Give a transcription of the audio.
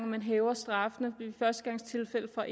man hæver straffene ved førstegangstilfælde fra